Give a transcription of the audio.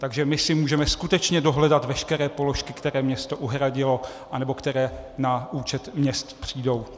Takže my si můžeme skutečně dohledat veškeré položky, které město uhradilo nebo které na účet města přijdou.